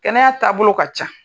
Kɛnɛya taabolo ka can.